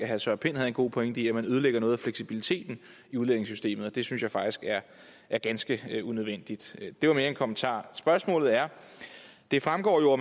herre søren pind havde en god pointe i at man ødelægger noget af fleksibiliteten i udlændingesystemet og det synes jeg faktisk er ganske unødvendigt det var mere en kommentar spørgsmålet er det fremgår jo at